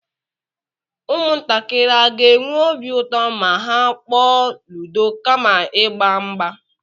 ụmụntakịrị aga-enwe obi ụtọ ma ha kpọọ ludo kama ịgba mgba?